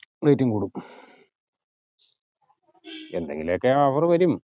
rate ഉം കൂടും എന്തെങ്കിലൊക്കെ അവർ വരും